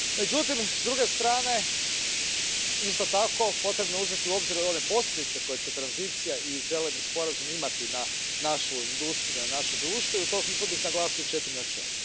Međutim, s druge strane, isto tako potrebno je uzeti u obzir one posljedice koje će tranzicija i Zeleni sporazum imati na našu industriju, na naše društvo, i u tom bih smislu naglasio četiri načela.